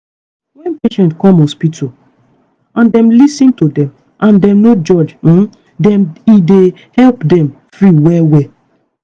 wen patient come hospital and dem lis ten to dem and dem no judge um dem e dey help dem free well well.